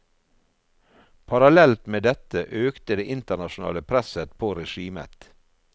Parallelt med dette økte det internasjonale presset på regimet.